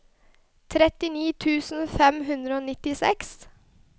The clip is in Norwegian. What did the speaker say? trettini tusen fem hundre og nittiseks